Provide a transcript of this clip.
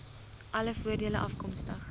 alle voordele afkomstig